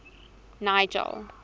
nigel